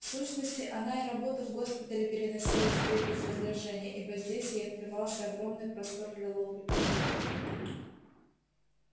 в сущности она и работу в госпитале переносила теперь без раздражения ибо здесь ей открывался огромный простор для ловли поклонников